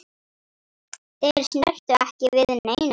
Þeir snertu ekki við neinu.